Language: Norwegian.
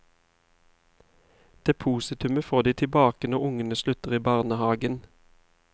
Depositumet får de tilbake når ungene slutter i barnehaven.